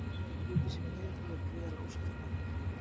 Hann grýtir sér niður og ég er gríðarlega ósáttur með þetta.